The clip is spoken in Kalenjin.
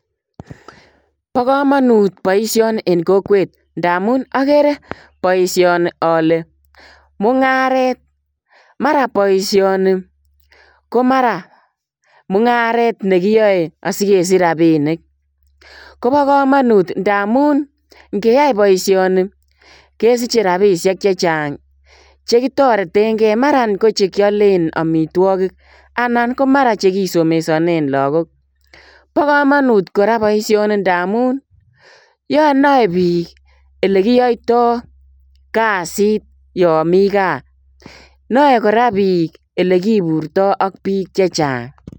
Bo kamanut boisioni en kokwet ndamuun agere boisioni ale mungaret mara boisioni ko mara mungaret nekiyae asi kesiich rapinik kobaa kamanut ndamuun ingeyai boisioni kesichei rapisheek chechaang chekitareteen gei maraan ko chekiyaleen amitwagiik anan ko mara chekisomeshanen lagook ,bo kamanut kora boisioni ndamuun nae biik ole kiyaitaa kazit yaan Mii gaah nae kora biik ele kiburtoi ak biik che chaang.